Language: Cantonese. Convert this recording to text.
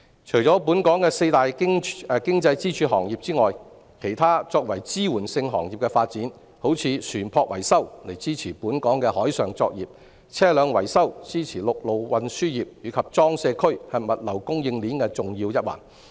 除本港的四大經濟支柱行業外，我也想說說其他作為支援性行業的發展，例如船舶維修支持本港的海上作業、車輛維修支持陸路運輸業，而裝卸區則是物流供應鏈的重要一環。